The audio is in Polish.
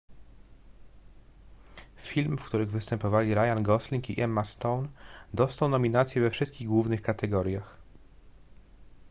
film w którym występowali ryan gosling i emma stone dostał nominacje we wszystkich głównych kategoriach